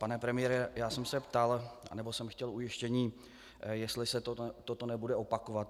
Pane premiére, já jsem se ptal, anebo jsem chtěl ujištění, jestli se toto nebude opakovat.